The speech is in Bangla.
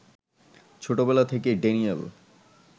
ছোটবেলা থেকেই ড্যানিয়েল